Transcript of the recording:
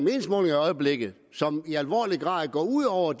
øjeblikket og som i alvorlig grad går ud over